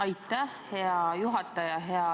Aitäh, hea juhataja!